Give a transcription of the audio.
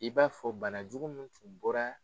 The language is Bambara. I b'a fɔ banajugu min tun bɔra